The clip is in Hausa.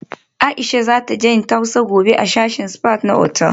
Aisha za taje yin tausa gobe a sashin spa na otal